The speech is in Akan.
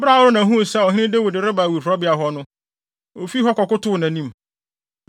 Bere a Arauna huu sɛ ɔhene Dawid reba awiporowbea hɔ no, ofi hɔ kɔkotow nʼanim.